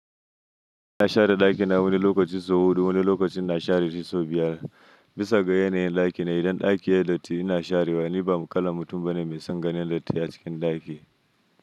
Ina share ɗaki na wani lokaci sau huɗu, wani lokacin na share shi sau biyar. Bisa ga yanayin ɗaki na idan ɗaki yayi datti ina sharewa, ni ba kalan mutum bane mai son ganin datti a cikin ɗaki.